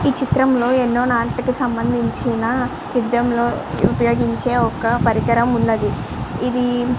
ఈ చిత్రంలో ఎన్నో నాటికీ సంబంధించిన యుద్ధంలో ఉపయోగించే ఒక పరికరం ఉన్నది. ఇది --